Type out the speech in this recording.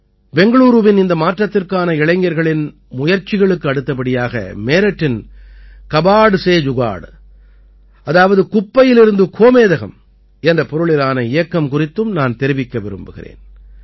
பெங்களூரூவின் இந்த மாற்றத்திற்கான இளைஞர்களின் முயற்சிகளுக்கு அடுத்தபடியாக மேரட்டின் கபாட் சே ஜுகாட் அதாவது குப்பையிலிருந்து கோமேதகம் என்ற பொருளிலான இயக்கம் குறித்தும் நான் தெரிவிக்க விரும்புகிறேன்